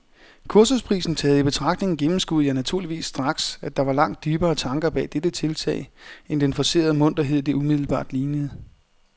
Kursusprisen taget i betragtning gennemskuede jeg naturligvis straks, at der var langt dybere tanker bag dette tiltag end den forcerede munterhed, det umiddelbart lignede.